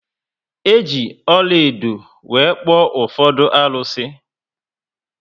Eji ọlaedo were kpuo ufodu arusi